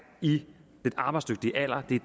i den arbejdsdygtige alder vi